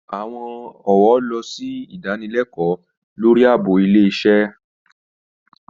Àwọn ọ̀wọ́ lọ sí ìdanilẹ́kọ̀ọ́ lórí ààbò ilé iṣẹ́